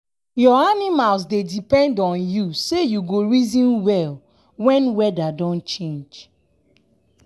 your animals dey depend on you say you go reason well wen weada don change.